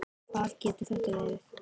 Hvað getur þetta verið?